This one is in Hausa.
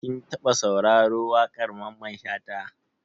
Kin taɓa sauraro wakar Mamman Shata?